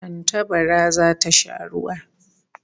Tantabara zata sha ruwa